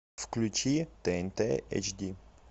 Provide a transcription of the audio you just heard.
включи тнт эйч ди